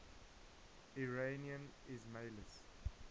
iranian ismailis